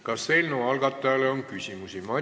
Kas eelnõu algatajale on küsimusi?